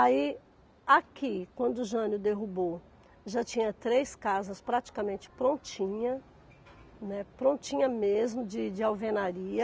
Aí, aqui, quando o Jânio derrubou, já tinha três casas praticamente prontinha, né, prontinha mesmo, de de alvenaria,